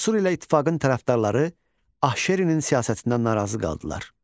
Asur ilə ittifaqın tərəfdarları Ahşerinin siyasətindən narazı qaldılar.